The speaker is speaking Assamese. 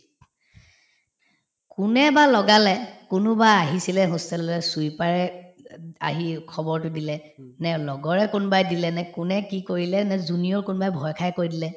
কোনে বা লগালে কোনোবা আহিছিলে hostel ললে sweeper য়ে আহি খবৰতো দিলে নে লগৰে কোনবাই দিলে নে কোনে কি কৰিলে নে junior কোনোবাই ভয় খায়ে কৈ দিলে